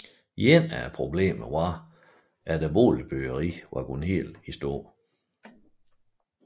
Et af problemerne var at boligbyggeriet gik helt i stå